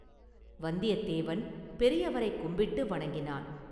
வந்தியத்தேவன் பெரியவரைக் கும்பிட்டு வணங்கினான்.